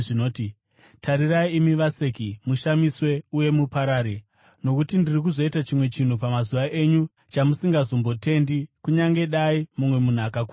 “ ‘Tarirai imi vaseki, mushamiswe uye muparare, nokuti ndiri kuzoita chimwe chinhu pamazuva enyu chamusingazombotendi, kunyange dai mumwe munhu akakuudzai.’ ”